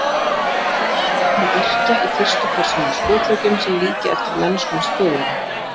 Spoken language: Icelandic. Til dæmis má nefna yrkja í fyrstu persónu skotleikjum sem líkja eftir mennskum spilara.